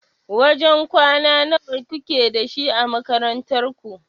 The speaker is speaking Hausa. Wajen kwana nawa kuke da shi a makarantar ku?